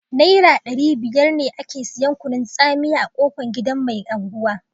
Naira ɗari biyar ne ake siyan kunun tsamiya a kofan gidan mai angwa